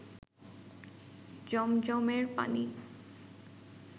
জমজমের পানি